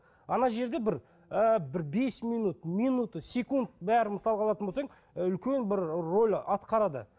ана жерде бір ы бір бес минут минуты секунд бәрі мысалға алатын болсаң ы үлкен бір роль атқарады